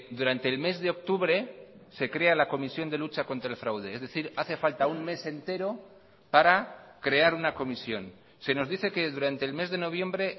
durante el mes de octubre se crea la comisión de lucha contra el fraude es decir hace falta un mes entero para crear una comisión se nos dice que durante el mes de noviembre